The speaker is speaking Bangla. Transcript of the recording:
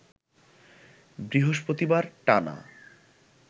বৃহস্পতিবার টানা